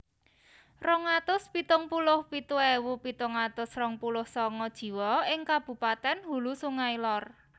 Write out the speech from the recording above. Rong atus pitung puluh pitu ewu pitung atus rong puluh sanga jiwa ing kabupatèn Hulu Sungai Lor